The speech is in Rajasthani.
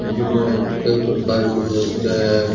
जिसमे कई प्रकार कि मूर्तियां हैं।